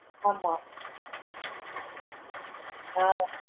ஆமா ஆஹ்